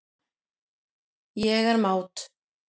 Ég er mát.